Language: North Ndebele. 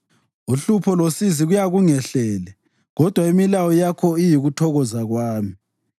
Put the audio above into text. Uhlupho losizi kuyakungehlele, kodwa imilayo yakho iyikuthokoza kwami.